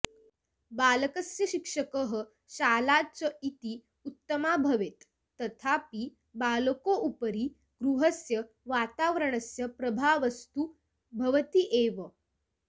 बालकस्य शिक्षकः शाला च अति उत्तमा भवेत् तथापि बालकोपरि गृहस्य वातावरणस्य प्रभावस्तु भवति एव